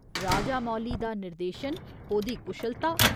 राजामौली दा निर्देशन, ओह्दी कुशलता।